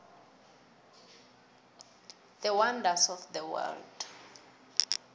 the wonders of the world